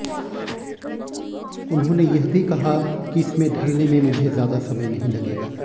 उन्होंने यह भी कहा कि इसमें ढलने में मुझे ज्यादा समय नहीं लगेगा